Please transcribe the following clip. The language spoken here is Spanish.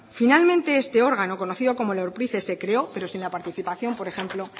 finalmente este órgano conocido como orpricce se creó pero sin la participación por ejemplo